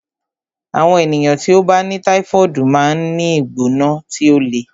Àwọn ènìyàn tí ó bá ní táífọ̀ọdu máa ń ní ìgbóná tí ó le